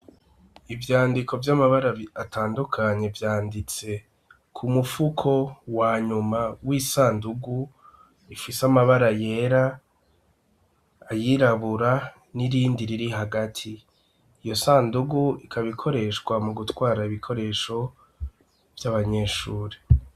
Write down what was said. Ivyandiko vy'amabara atandukanye vyanditse ku mufuko wa nyuma w'isandugu, ifise amabara yera, ayirabura n'irindi riri hagati. Iyo sandugu ikaba ikoreshwa mu gutwara ibikoresho vy'abanyeshure.